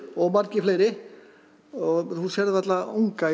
og margir fleiri þú sérð varla unga